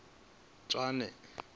tswane